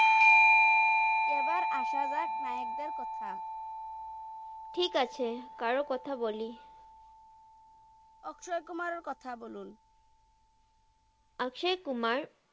এবার আসা জাক নায়াক দের কথাই ঠিক আছে কার কথা বলি আকাশই কুমার এর কথা ব্লুন আকশাই কুমার